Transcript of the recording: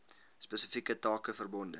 spesifieke take verbonde